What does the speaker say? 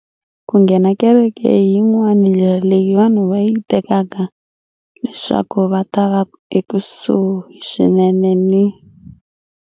Ku nghena kereke hi yin'wana ndlela leyi vanhu va yi tekaka leswaku va ta va ekusuhi swinene ni.